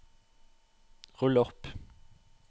rull opp